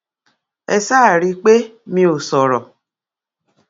ẹ ṣáà rí i pé mi ò sọrọ